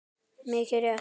Mikið rétt!